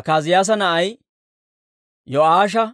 Akaaziyaasa na'ay Yo'aasha;